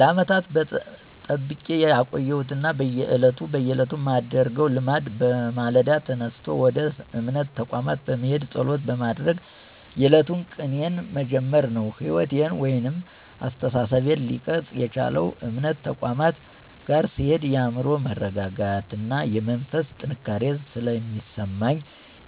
ለዓመታት ጠብቄ ያቆየሁት ና በየዕለቱ ማደርገው ልማድ በማለዳ ተነስቶ ወደ እምነት ተቋማት በመሄድና ፀሎት በማድረግ የዕለቱን ቀኔን መጀመር ነው። ሕይወቴን ወይም አስተሳሰቤን ሊቀርፅ የቻለው እምነት ተቋማት ጋር ስሄድ የአዕምሮ መረጋጋትና የመንፈስ ጥንካሬ ስለሚሰማኝ